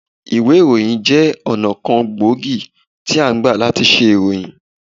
Ìwé ìròyìn jẹ́ ọ̀nà kan gbòógì tí a ngbà làti se ìròyìn